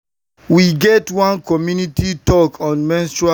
na my doctor doctor break down menstrual health and hygiene give me and i gatz am well.